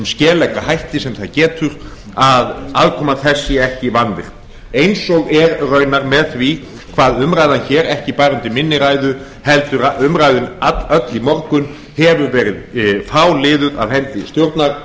skelegga hætti sem það getur að aðkoma þess sé ekki vanvirt eins og er raunar með því hvað umræðan hér ekki bara undir minni ræðu heldur að umræðan öll í morgun hefur verið fáliðuð af hendi